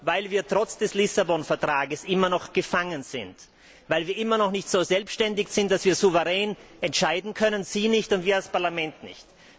Weil wir trotz des Lissabon Vertrags immer noch gefangen sind, weil wir immer noch nicht so selbständig sind, dass wir souverän entscheiden können Sie nicht und wir als Parlament nicht.